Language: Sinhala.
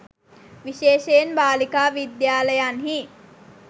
විශේෂයෙන් බාලිකා විද්‍යාලයන්හි